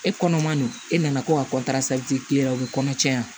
E kɔnɔ man non e nana ko ka k'e la o be kɔnɔ caya